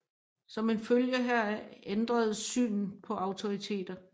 Som en følge heraf ændredes synet på autoriteter